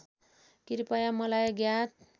कृपया मलाई ज्ञात